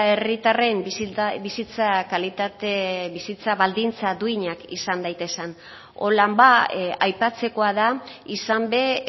herritarren bizitza kalitate bizitza baldintza duinak izan daitezen hola ba aipatzekoa da izan ere